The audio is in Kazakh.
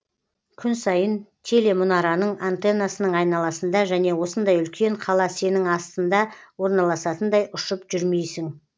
күн сайын телемұнараның антеннасының айналасында және осындай үлкен қала сенің астыңда орналасатындай ұшып жүрмейсің